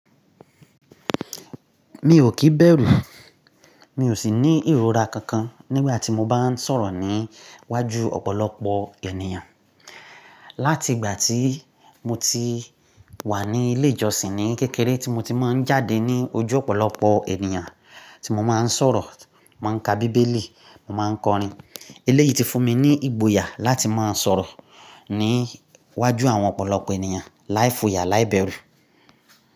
Mi ò kìí bẹ̀rù, mi ò sì ní ìrora kankan nígbà tí mo bá ń sọ̀rọ̀ ní iwájú ọ̀pọ̀lọpọ̀ ènìyàn. Láti ìgbà tí mo ti wà ní ilé ìjọsìn ní kékeré tí mo tí máa ń jáde ní ojú ọ̀pọ̀lọpọ̀ ènìyàn tí mo máa ń sọ̀rọ̀, máa ń ka bíbélì, mo máa ń kọrin. Iléyí ti fún mi ní ìgboyà láti máa ń sọ̀rọ̀ ní iwájú àwọn ọ̀pọ̀lọpọ̀ ènìyàn láì foyà, láì bẹ̀rù.